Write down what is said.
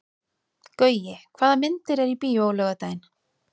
Gaui, hvaða myndir eru í bíó á laugardaginn?